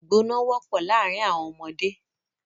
Ìgbọná wọ́pọ̀ láàrin àwọn ọmọdé.